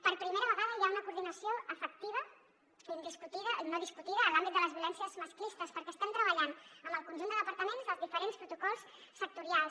per primera vegada hi ha una coordinació efectiva no discutida a l’àmbit de les violències masclistes perquè estem treballant amb el conjunt de departaments els diferents protocols sectorials